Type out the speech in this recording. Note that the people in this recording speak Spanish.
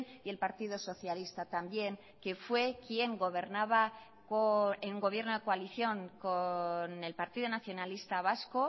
y el partido socialista también que fue quien gobernaba en gobierno de coalición con el partido nacionalista vasco